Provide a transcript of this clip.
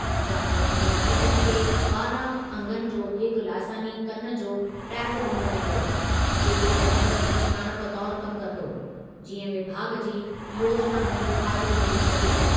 जानवरनि जे मालिकनि खे ॿारहं अंगनि जो हिकु लासानी कनि जो टैग ॾिनो वेंदो, जेको जानवर जी सुञाणप तौर कमु कंदो, जीअं विभाॻ जी योजिनाउनि जो फ़ाइदो मिली सघे